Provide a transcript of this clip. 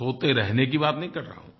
सोते रहने की बात नहीं कर रहा हूँ